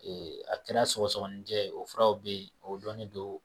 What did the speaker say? kɛra sɔgɔsɔgɔnicɛ ye o furaw be yen o dɔnnen don